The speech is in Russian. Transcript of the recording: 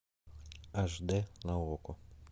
аш д на окко